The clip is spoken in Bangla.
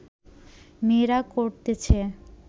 মেয়েরা করতেছে